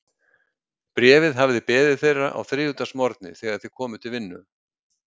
Bréfið hafði beðið þeirra á þriðjudagsmorgni, þegar þeir komu til vinnu.